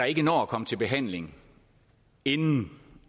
ikke når at komme til behandling inden